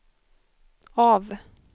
av